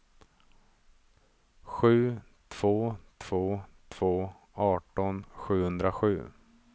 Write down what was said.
sju två två två arton sjuhundrasju